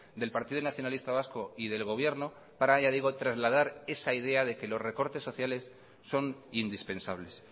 del partido nacionalista vasco y del gobierno para ya digo trasladar esa idea de que los recortes sociales son indispensables